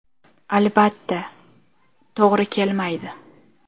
Albatta, to‘g‘ri kelmaydi.